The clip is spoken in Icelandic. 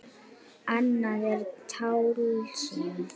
Annað er tálsýn.